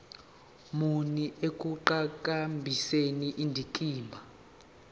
muni ekuqhakambiseni indikimba